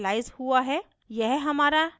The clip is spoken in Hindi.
यह 0 से इनिशिअलाइज़ हुआ है